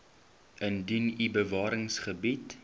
indien u bewaringsgebiede